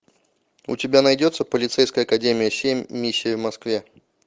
у тебя найдется полицейская академия семь миссия в москве